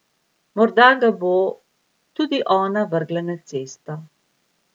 Morda ga bo tudi ona vrgla na cesto.